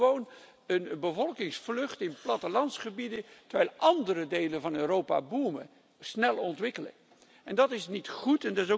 Je ziet gewoon een bevolkingsvlucht in plattelandsgebieden, terwijl andere delen van Europa boomen en zich snel ontwikkelen. Dat is niet goed.